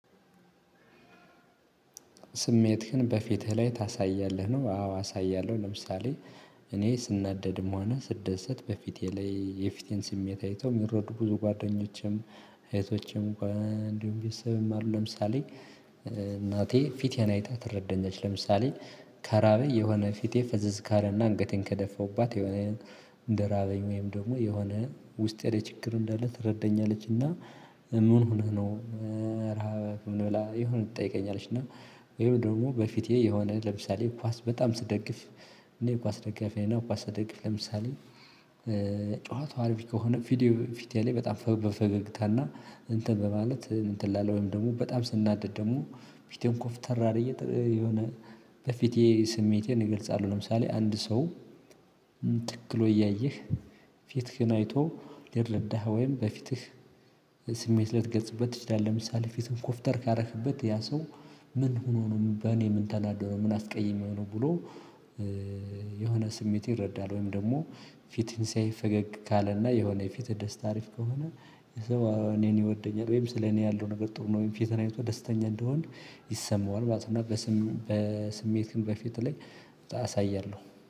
ስሜትህን በፊትህ ላይ ታሳያለህ ነው? አዎ አሳያለሁ ለምሳሌ እኔ ስናደድም ሆነ ስደሰት በፊቴ ላይ የፊቴን ስሜት አይተው ሚረዱ ብዙ ጓደኞቼም እህቶቼም እንዲሁም ቤተሰብም አሉ። ለምሳሌ እናቴ ፊቴን አይታ ትረደኛለች ለምሳሌ ከራበኝ የሆነ ፊቴ ፈዘዝ ካለ አንገቴን ከደፈሁባት እንደራበኝ ወይም ደግሞ የሆነ ውስጤ ለይ ችግር እንዳለ ትረደኛለች። እና ምን ሆነህ ነው? ራበህ ምን ብላ የሆነ ትጠይቀኛለች። እና ወይ ደግሞ በፊቴ የሆነ ለምሳሌ ኳስ በጣም ስደግፍ እኔ ኳስ ደጋፊ ነይ ኳስ ስደግፍ ለምሳሌ ጨዋታው አሪፍ ከሆነ። ፊቴ ላይ በጣም በፈገግታና እንትን በማለት እንትን እላለው ወይም ደግሞ በጣም ስናደድ ደግሞ ፊቴን ኮፍተር አድርጌ የሆነ በፊቴ ስሜቴን እገልጻለሁ። ለምሳሌ አንድ ሰው ትክ ብሎ እያየህ ፊትህን አይቶ ሊረዳህ ወይም በፊትህ ስሜት ልትገጽበት ትችላለህ። ለምሳሌ ፊትህን ኮፍተር ካደረክበት ያ ሰው ምን ሆኖ ነው በኔ ምን ተናዶ ምን አስቀይመው ነው ብሎ። የሆነ ስሜት ይረዳል ወይም ደግሞ ፊትህን ሲያይ ፈገግ ካለና የሆነ የፊት ደስታ አሪፍ ከሆነ። እኔን ይወደኛል ወይም ስለ እኔ ያለው ነገር ጥሩ ነው ወይም ፊትህን አይቶ ደስተኛ እንደሆንክ ይሰማዋል። በቃ እና ስሜትን በፊት ላይ አሳያለሁ